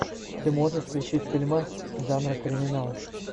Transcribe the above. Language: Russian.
ты можешь включить фильмас жанра криминал